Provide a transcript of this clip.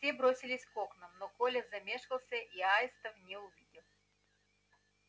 все бросились к окнам но коля замешкался и аистов не увидел